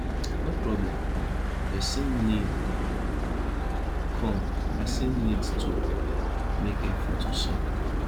when problem come person need come person need to make effort to solve am